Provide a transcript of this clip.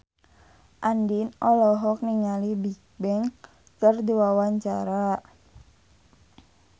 Andien olohok ningali Bigbang keur diwawancara